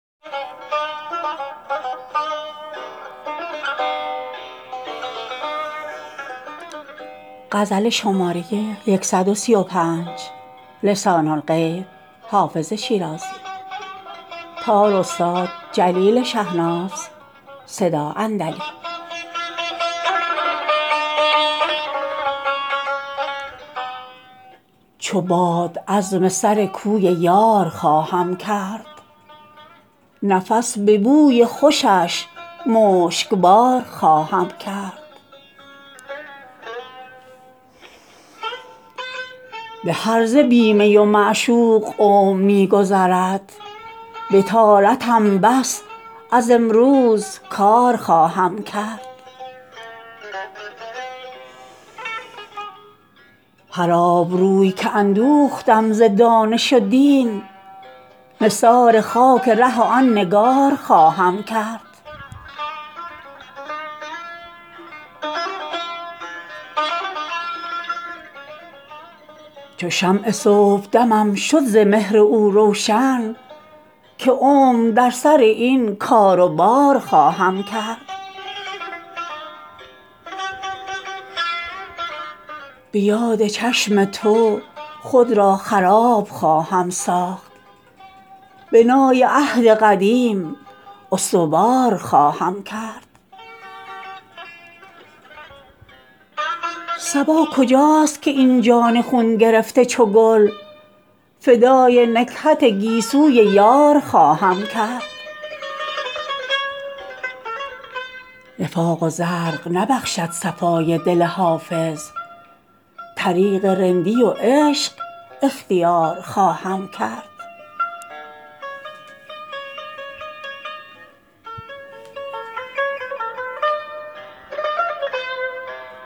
چو باد عزم سر کوی یار خواهم کرد نفس به بوی خوشش مشکبار خواهم کرد به هرزه بی می و معشوق عمر می گذرد بطالتم بس از امروز کار خواهم کرد هر آبروی که اندوختم ز دانش و دین نثار خاک ره آن نگار خواهم کرد چو شمع صبحدمم شد ز مهر او روشن که عمر در سر این کار و بار خواهم کرد به یاد چشم تو خود را خراب خواهم ساخت بنای عهد قدیم استوار خواهم کرد صبا کجاست که این جان خون گرفته چو گل فدای نکهت گیسوی یار خواهم کرد نفاق و زرق نبخشد صفای دل حافظ طریق رندی و عشق اختیار خواهم کرد